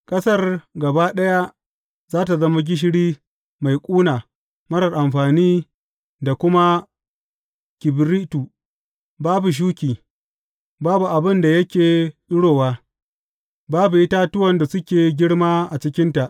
Ƙasar gaba ɗaya za tă zama gishiri mai ƙuna marar amfani da kuma kibiritu, babu shuki, babu abin da yake tsirowa, babu itatuwan da suke girma a cikinta.